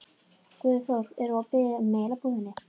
Guðþór, er opið í Melabúðinni?